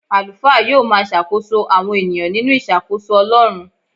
Àlùfáà yóò máa ṣàkóso àwọn ènìyàn nínú ìṣàkóso Ọlọ́run.